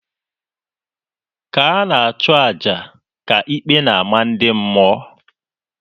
Ka a na-achụ aja, ka ikpe na-ama ndị mmụọ.